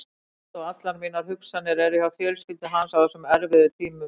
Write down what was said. Ást og allar mínar hugsanir er hjá fjölskyldu hans á þessum erfiðu tímum.